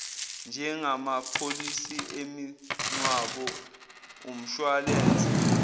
njengamapholisi emingcwabo umshwalense